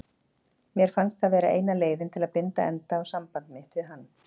Mér fannst það vera eina leiðin til að binda enda á samband mitt við hann.